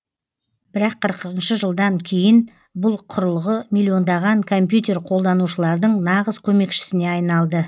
бірақ қырқыншы жылдан кейін бұл құрылғы миллиондаған компьютер қолданушылардың нағыз көмекшісіне айналды